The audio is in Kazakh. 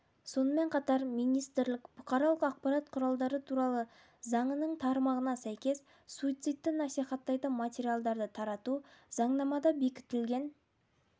сонымен қатар министрлік бұқаралық ақпарат құралдары туралы заңының тармағына сәйкес суицидті насихаттайтын материалдарды тарату заңнамада бекітілген